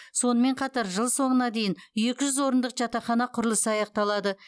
сонымен қатар жыл соңына дейін екі жүз орындық жатақхана құрылысы аяқталады